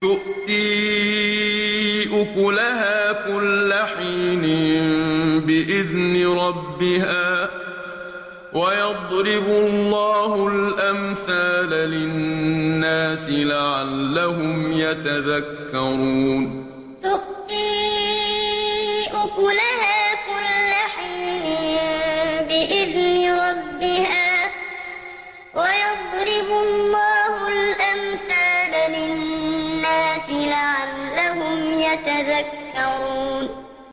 تُؤْتِي أُكُلَهَا كُلَّ حِينٍ بِإِذْنِ رَبِّهَا ۗ وَيَضْرِبُ اللَّهُ الْأَمْثَالَ لِلنَّاسِ لَعَلَّهُمْ يَتَذَكَّرُونَ تُؤْتِي أُكُلَهَا كُلَّ حِينٍ بِإِذْنِ رَبِّهَا ۗ وَيَضْرِبُ اللَّهُ الْأَمْثَالَ لِلنَّاسِ لَعَلَّهُمْ يَتَذَكَّرُونَ